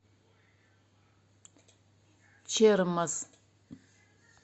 чермоз